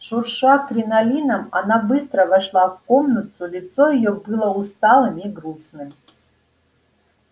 шурша кринолином она быстро вошла в комнату лицо её было усталым и грустным